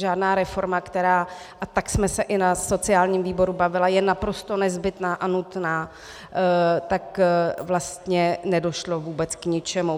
Žádná reforma, která, a tak jsme se i na sociálním výboru bavili, je naprosto nezbytná a nutná, tak vlastně nedošlo vůbec k ničemu.